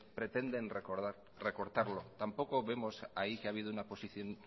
pretenden recortarlo tampoco vemos ahí que ha habido una posición